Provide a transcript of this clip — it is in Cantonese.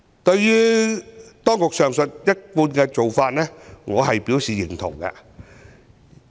對於當局上述一貫的做法，我表示贊同。